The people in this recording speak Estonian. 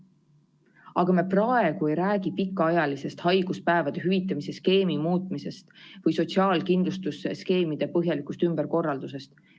Aga me praegu ei räägi pikaajalisest haiguspäevade hüvitamise skeemi muutmisest või sotsiaalkindlustusskeemide põhjalikust ümberkorraldusest.